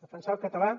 defensar el català